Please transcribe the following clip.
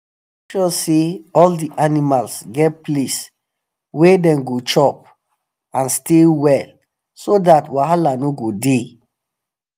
make sure say all the animals get place wa them go chop and stay well so that um wahala no go the